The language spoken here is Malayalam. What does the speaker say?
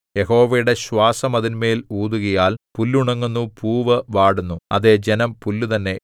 യഹോവയുടെ ശ്വാസം അതിന്മേൽ ഊതുകയാൽ പുല്ലുണങ്ങുന്നു പൂവ് വാടുന്നു അതേ ജനം പുല്ലുതന്നെ